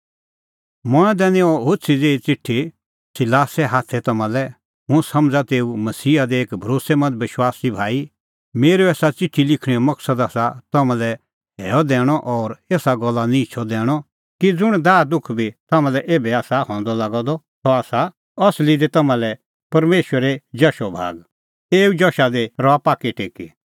मंऐं दैनी अह होछ़ी ज़ेही च़िठी सिलासे हाथै तम्हां लै हुंह समझ़ा तेऊ मसीहा दी एक भरोस्सैमंद विश्वासी भाई मेरअ एसा च़िठी लिखणेओ मकसद आसा तम्हां लै हैअ दैणअ और एसा गल्लो निहंचअ दैणअ कि ज़ुंण दाहदुख बी तम्हां लै एभै आसा हंदअ लागअ द सह आसा असली दी तम्हां लै परमेशरे जशो भाग एऊ जशा दी रहा पाक्कै टेकी